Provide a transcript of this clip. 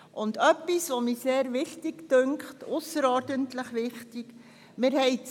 Folgendes erscheint mir ebenfalls ausserordentlich wichtig zu sein: